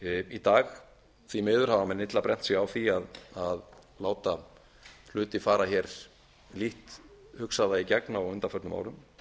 í dag því miður hafa menn illa brennt sig á því að láta hluti fara hér lítt hugsaða í gegn á undanförnum árum en